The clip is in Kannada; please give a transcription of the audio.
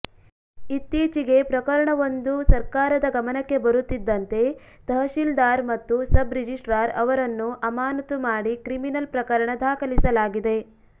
ಇತ್ತೀಚೆಗೆ ಪ್ರಕರಣವೊಂದು ಸರ್ಕಾರದ ಗಮನಕ್ಕೆ ಬರುತ್ತಿದ್ದಂತೆ ತಹಸೀಲ್ದಾರ್ ಮತ್ತು ಸಬ್ ರಿಜಿಸ್ಟ್ರಾರ್ ಅವರನ್ನು ಅಮಾನತು ಮಾಡಿ ಕ್ರಿಮಿನಿನಲ್ ಪ್ರಕರಣ ದಾಖಲಿಸಲಾಗಿದೆ